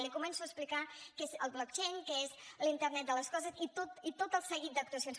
li començo a explicar que és el blockchain que és la internet de les coses i tot el seguit d’actuacions